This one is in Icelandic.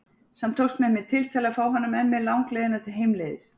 Samt tókst mér með tiltali að fá hana með mér langleiðina heimleiðis.